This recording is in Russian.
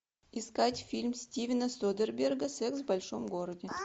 искать фильм стивена содерберга секс в большом городе